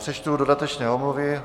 Přečtu dodatečné omluvy.